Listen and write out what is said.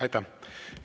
Aitäh!